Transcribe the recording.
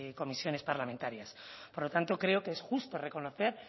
comisiones parlamentarias por lo tanto creo que es justo reconocer